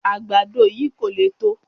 Àgbàdo yìí kò le tó